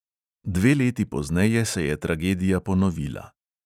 Dve leti pozneje se je tragedija ponovila.